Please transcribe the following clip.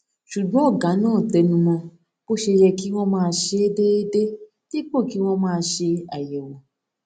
ṣùgbọn ògá náà tẹnu mó bó ṣe yẹ kí wón máa ṣe é déédéé dípò kí wón máa ṣe àyèwò